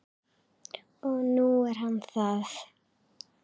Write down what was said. Og nú er hann það.